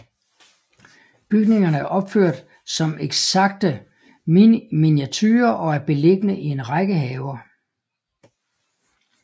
Bygningerne er opført som ekstakte miniaturer og er beliggende i en række haver